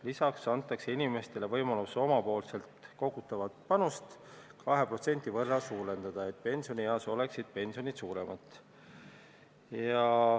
Lisaks antakse inimestele võimalus enda panust 2% võrra suurendada, et pensionieas oleksid pensionid suuremad.